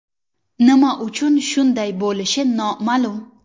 Nima uchun shunday bo‘lishi noma’lum.